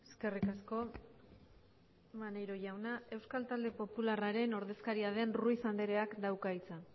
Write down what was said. eskerrik asko maneiro jauna euskal talde popularraren ordezkaria den ruiz andereak dauka hitza